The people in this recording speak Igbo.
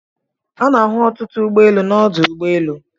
Ana-ahụ ọtụtụ ụgbọ elu na ọdụ ụgbọ elu